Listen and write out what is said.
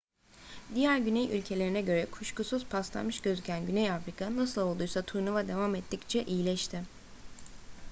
diğer güney ülkelerine göre kuşkusuz paslanmış gözüken güney afrika nasıl olduysa turnuva devam ettikçe iyileşti